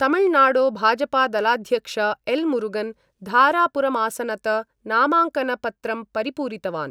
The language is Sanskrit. तमिलनाडो भाजपादलाध्यक्ष एल् मुरुगन धारपुरमासनत नामाङ्कनपत्रं परिपूरितवान्।